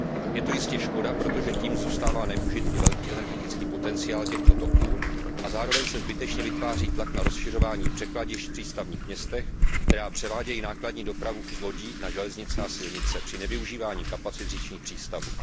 Je to jistě škoda, protože tím zůstává nevyužit i velký energetický potenciál těchto toků, a zároveň se zbytečně vytváří tlak na rozšiřování překladišť v přístavních městech, která převádějí nákladní dopravu z lodí na železnice a silnice při nevyužívání kapacit říčních přístavů.